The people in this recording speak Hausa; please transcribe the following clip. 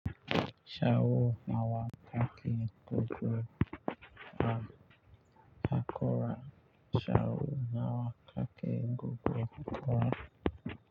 Sau nawa kake goge haƙora? Sau nawa ka ke goge haƙora?